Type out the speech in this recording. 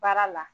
Baara la